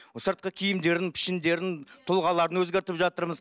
сыртқы киімдерін пішіндерін тұлғаларын өзгертіп жатырмыз